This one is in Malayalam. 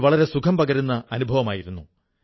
ജീവിതത്തിന് അത് ഒരു തരത്തിൽ വഴികാട്ടിയാണ്